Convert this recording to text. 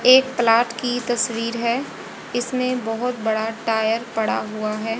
एक तलाब की तस्वीर है इसमें बहोत बड़ा टायर पड़ा हुआ है।